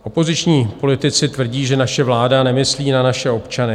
Opoziční politici tvrdí, že naše vláda nemyslí na naše občany.